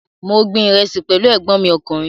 Mo gbin ìrẹsì pẹ̀lú ẹ̀gbọ́n mi ọkùnrin